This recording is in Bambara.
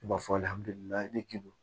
I b'a fɔ ne k'i don